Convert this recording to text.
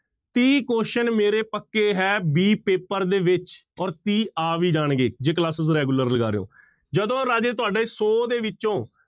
ਤੀਹ question ਮੇਰੇ ਪੱਕੇ ਹੈ b ਪੇਪਰ ਦੇ ਵਿੱਚ ਔਰ ਤੀਹ ਆ ਵੀ ਜਾਣਗੇ ਜੇ classes regular ਲਗਾ ਰਹੇ ਹੋ, ਜਦੋਂ ਰਾਜੇ ਤੁਹਾਡੇ ਸੌ ਦੇ ਵਿੱਚੋਂ